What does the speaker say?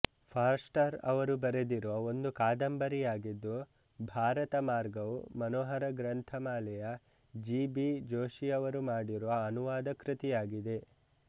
Forster ಅವರು ಬರೆದಿರುವ ಒಂದು ಕಾದಂಬರಿಯಾಗಿದ್ದು ಭಾರತಮಾರ್ಗವು ಮನೋಹರ ಗ್ರಂಥಮಾಲೆಯ ಜಿ ಬಿ ಜೋಶಿಯವರು ಮಾಡಿರುವ ಅನುವಾದ ಕೃತಿಯಾಗಿದೆ